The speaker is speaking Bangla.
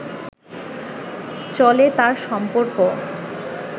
চলে তার সম্পর্ক